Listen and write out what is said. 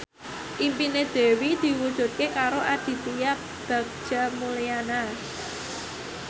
impine Dewi diwujudke karo Aditya Bagja Mulyana